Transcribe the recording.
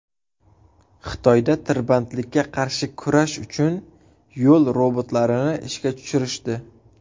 Xitoyda tirbandlikka qarshi kurash uchun yo‘l robotlarini ishga tushirishdi .